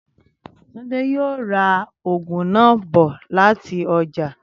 Túndé yóò ra ògùn náà bò láti ojà